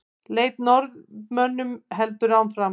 Leit að Norðmönnunum heldur áfram